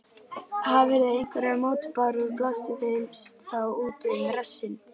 Hafirðu einhverjar mótbárur, blástu þeim þá út um rassinn.